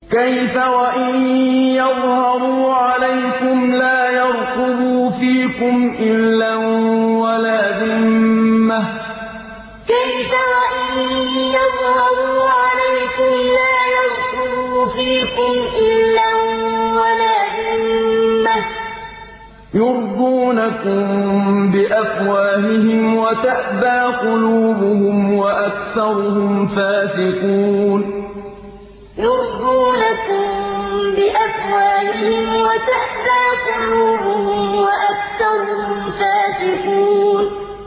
كَيْفَ وَإِن يَظْهَرُوا عَلَيْكُمْ لَا يَرْقُبُوا فِيكُمْ إِلًّا وَلَا ذِمَّةً ۚ يُرْضُونَكُم بِأَفْوَاهِهِمْ وَتَأْبَىٰ قُلُوبُهُمْ وَأَكْثَرُهُمْ فَاسِقُونَ كَيْفَ وَإِن يَظْهَرُوا عَلَيْكُمْ لَا يَرْقُبُوا فِيكُمْ إِلًّا وَلَا ذِمَّةً ۚ يُرْضُونَكُم بِأَفْوَاهِهِمْ وَتَأْبَىٰ قُلُوبُهُمْ وَأَكْثَرُهُمْ فَاسِقُونَ